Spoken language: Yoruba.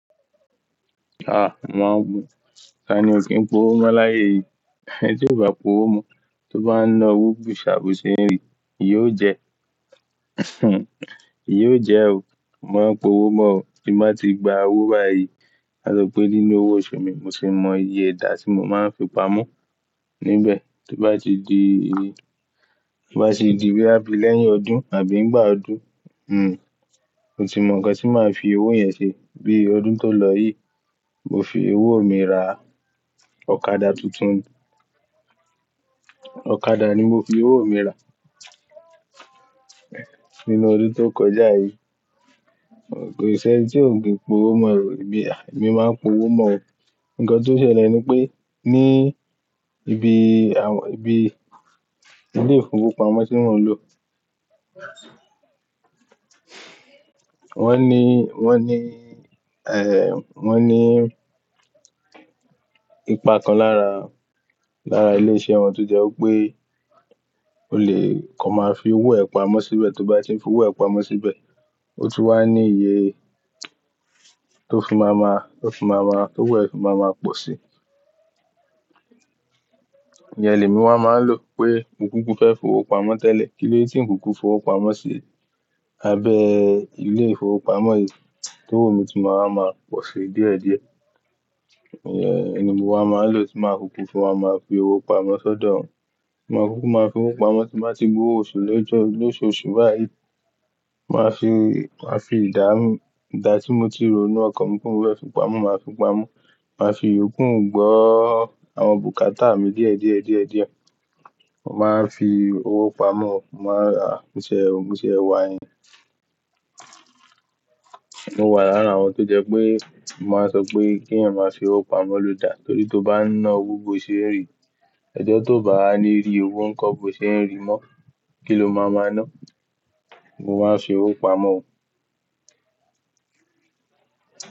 Mo máa ń gun. Tani ò kí n po owó mọ́ láyé yìí? Ẹni tí ò bá p'owó mọ́, tó bá ń ná owú gbòòṣà bòó ṣe ń rì, ìyà ò jẹ ìyà ò jẹ o. Mo máa ń po owó mọ́ o. Tí mo bá ti gba owó báyìí, ka sọ pé nínú owó oṣù mi, mo tì mọ iye ìdá tí mo máa ń fi pamọ́ níbẹ̀. Tó bá ti di, tó bá ti di bóyá lẹ́yìn ọdún àbí ìgbà ọdún, mo tì mọ nǹkan tí màá fi owó yẹn ṣe. Bíi ọdún tó lọ yìí, mo fi owó mi ra ọ̀kadà tuntun. Ọ̀kadà ni mo fi owó mi ra nínú ọdún tó kọjá yìí. Ko í sì ẹni tí ò kí n po owó mọ́ o. Èmi, èmi máa ń po owó mọ́ o. Nǹkan tó ṣẹlẹ̀ ni pé ní ibi àwọn, ibi ilé ìfowópamọ́ tí mò ń lò, wọ́n ní, wọ́n ní, wọ́n ní ipa kan lára, lára ilé iṣẹ́ wọn tó jẹ́ wípé o lè kọ máa fi owó ẹ pamọ́ síbẹ̀. Tó bá ti ń fi owó ẹ pamọ́ síbẹ̀, ó tún wá ní iye tó fi máa ma, tó fi máa ma, tó wù ẹ́ fi máa ma pọ̀ síi. Ìyẹn lé mi wá máa ń lò pé mo kúkú fẹ́ fi owó pamọ́ tẹ́lẹ̀. Kílóde tí n kúkú fi owó pamọ́ sí abẹ́ ilé ìfowópamọ́ yìí, tówó mi tún máa wà ma pọ̀ si díẹ̀díẹ̀. Ìyẹn ni mo wá máa ń lò tí màá kúkú fi owó wá máa fi owó pamọ́ sọ́dọ̀ wọn. Mo máa kúkú máa fi owó pamọ́ tí mo bá ti gbó oṣù lójọ, lóṣooṣù báyìí. Màá fi, màá fi ìdáhùn, ìdá tí mo ti rò ní ọkàn mi pé òun fẹ́ fi pamọ́, màá fi pamọ́. Màá fi ìyókù gbọ́ àwọn bùkátà mi díẹ̀díẹ̀, díẹ̀díẹ̀. Mo máa ń fi owó pamọ́ o, mo máa ń rà irinṣẹ́, ohun tí ẹ wá yẹn. Mo wà lára àwọn tó jẹ́ pé mo máa ń sọ pé kí ẹ̀yin máa fi owó pamọ́ lo dà. Nítorí tó bá ń ná owó bòò ṣe ń rì, ọjọ́ tó bá wá a ní rí owó nǹkan bòò ṣe ń rì mọ́, kí ló máa ma ná? Mo máa ń fi owó pamọ́ o.